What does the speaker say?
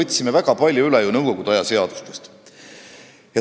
Me võtsime väga palju üle ju nõukogude aja seadustest.